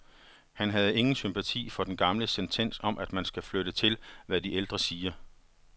Han havde ingen sympati for den gamle sentens om, at man skal lytte til, hvad de ældre siger.